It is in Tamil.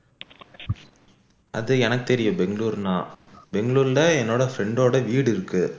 அது எனக்கு தெரியும் பெங்களூர்னா பெங்களூர்ல என்னோட friend ஓட வீடு இருக்கு